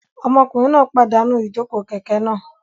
Ọmọkùnrin náà pàdánù ijoko kẹkẹ náà